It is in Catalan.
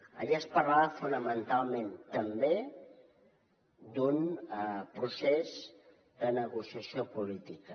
allà es parlava fonamentalment també d’un procés de negociació política